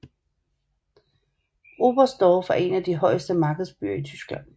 Oberstdorf er en af de højeste markedsbyer i Tyskland